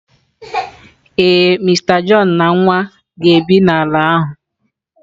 Ee, Mister John na nwa ga-ebi n'ala ahụ.